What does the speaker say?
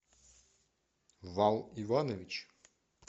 вал иванович